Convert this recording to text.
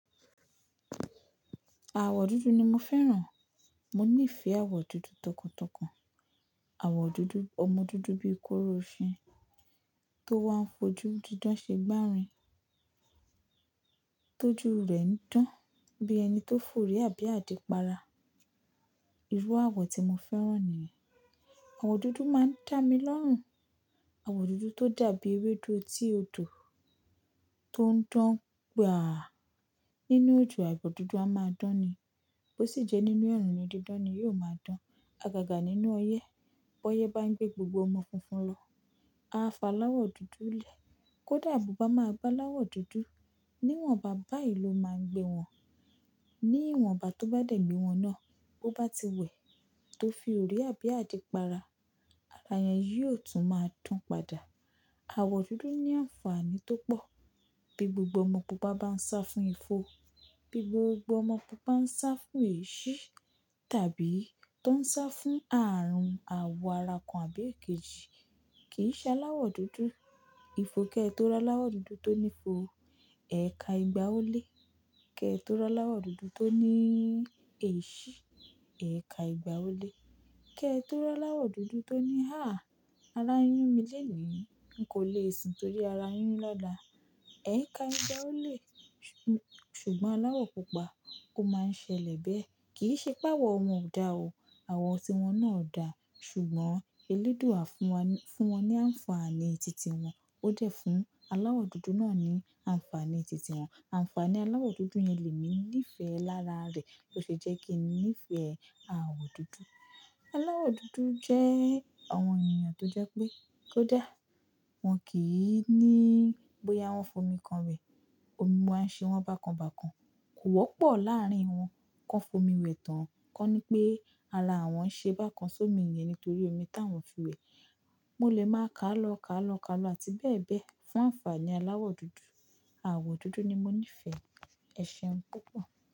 Àwọ̀ dúdú ni mo fẹ́ràn. Mo nífẹ̀ẹ́ àwọ̀ dúdú tọkàntọkàn. Àwọ̀ dúdú, ọmọ dúdú bíi kóró oṣin tó wá ń fojú dídán ṣe gbárin. Tójú rẹ̀ ń dán bí ẹni tó ń forí àbí àdípara. Irú àwọ̀ tí mo fẹ́ràn ni yẹ̀n. Àwọ̀ dúdú máa ń dá mi lọ́rùn. Àwọ̀ dúdú tó dàbí ewédú etí òdò tó ń dán gba à nínú òjò. Àwọ̀ dúdú a máa dán ni. Bó sì jẹ́ nínú ẹ̀run ni dídán ni yóò máa dán. Àgàgà nínú ọyẹ́, bóyẹ́ bá gbé gbogbo ọmọ funfun lọ, a fa aláwọ̀ dúdú lẹ̀. Kódà bóbá máa gbá é aláwọ̀ dúdú, níwọ̀n bàbá yìí ló máa ń gbé wọn. Níwọ̀n igbá tó bá dẹ̀ gbé wọn náà bó bá ti wẹ̀ tó fi òrì ábí àdí para, aràà yẹn yìí ò tún máa dan padà. Àwọ̀ dúdú ní àǹfààní tó pọ̀. Bí gbogbo ọmọ pùpá bá ń sá fún ifo, bí gbogbo ọmọ bùbá ń sá fún èéṣí tàbí tó ń sá fún ààrùn àwọ̀ ara kan àbí èkejì kì í ṣẹ́ aláwọ̀ dúdú. Ifo kẹ́ẹ̀ tó rọ́ aláwọ̀ dúdú tó ní ifo, ẹ̀ka ìgbà ó le. Kẹ́ẹ̀ tó rọ́ aláwọ̀ dúdú tó ní èéṣí, ẹ̀ka ìgbà ó le. Kẹ́ẹ̀ tó ri aláwọ̀ dúdú tó ní háà, ara yún mi léèní, n kò le è sùn torí ara yún lọla, ẹ̀ka ìgbà ó le. Ṣùgbọ́n aláwọ̀ pupa kò máa ń ṣẹlẹ̀ bẹ́ẹ̀. Kì í ṣe pé àwọ̀ wọn ò dá o, àwọ̀ tí wọ́n náà dà, ṣùgbọ́n elédùà fúnwọ́n ní àǹfààní titi wọn. Ó dẹ̀ fún aláwọ̀ dúdú náà ní àǹfààní titi wọn. Àǹfààní aláwọ̀ dúdú yẹn lè ní ní ìfẹ́ lára rẹ̀ tó ṣe jẹ́ kí n nífẹ̀ẹ́ àwọ̀ dúdú. Aláwọ̀ dúdú jẹ́ àwọn ènìyàn tó jẹ́ pé kó dá, wọ́n kì í ní bóyá wọ́n fomi kan wẹ̀, omi wáa ń ṣe wọ́n bákan bákan. Kò wọ́pọ̀ láàrín wọn kó fomi wẹ̀ tán, kó ní pé ara wọ́n ń ṣe bákan sómi yẹn nítorí omi tí awọ́n fi wẹ̀. Mo lè máa kálọ́, kálọ́, kálọ́ àti bẹ́ẹ̀ bẹ́ẹ̀ fún àǹfààní aláwọ̀ dúdú. Àwọ̀ dúdú ni mo nífẹ̀ẹ́ ẹ́ṣeun púpọ̀